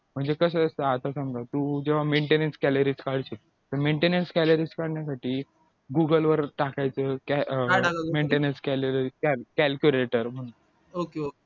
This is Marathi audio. म्हणजे कसं समजा तू जेव्हा maintenance calories तर maintenance calorie google वर टाकायचं maintenance calorie calculator म्हणून